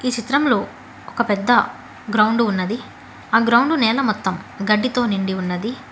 చిత్రంలో ఒక పెద్ద గ్రౌండ్ ఉన్నది ఆ గ్రౌండ్ లో నేల మొత్తం గడ్డితో నిండి ఉన్నది.